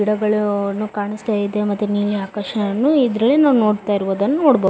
ಗಿಡಗಳನ್ನು ಕಾಣಸ್ತಾ ಇದೆ ಮತ್ತೆ ನೀಲಿ ಆಕಾಶನು ಇದ್ರಲ್ಲಿ ನಾವು ನೋಡತ್ತಾ ಇರಬಹುದನ್ನು ನೋಡಬಹುದು .